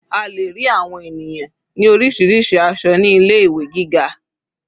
A lè rí àwọn ènìyàn ní orísirísi aṣọ ní ilé ìwé gíga.